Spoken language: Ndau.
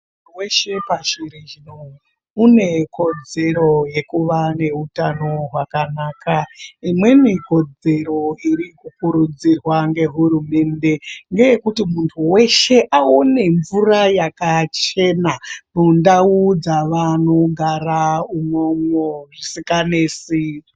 Muntu weshe pashi reshe une kodzero yekuva neutano hwakanaka. Imweni kodzero iri kukurudzirwa ngehurumende ngeyekuti muntu weshe aone mvura yakachena mundau dzavanogara umomo zvisikanesi.